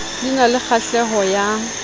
di na le kgahleho ya